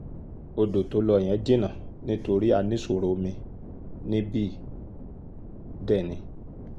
ọ̀dọ́ tó lọ yẹn jìnnà nítorí a ní ìṣòro omi níbí dé ni